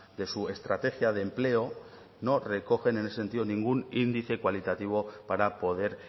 de su estrategia de empleo no recoge en ese sentido ningún índice cualitativo para poder